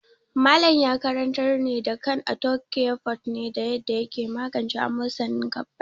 Malam ya karantar da kan arthocare forte ne da yaddaa yake magance amosanin gaɓɓai.